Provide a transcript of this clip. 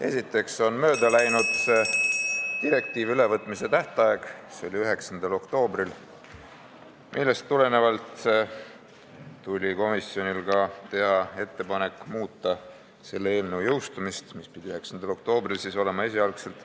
Esiteks on mööda läinud direktiivi ülevõtmise tähtaeg – see oli 9. oktoobril –, mistõttu tuli komisjonil teha ettepanek muuta eelnõu jõustumisaega, mis pidi esialgu olema 9. oktoobril.